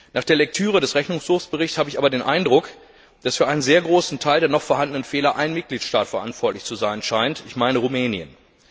Nach der Lektüre des Rechnungshofsberichts habe ich aber den Eindruck, dass für einen sehr großen Teil der noch vorhandenen Fehler ein Mitgliedstaat verantwortlich zu sein schein, nämlich Rumänien.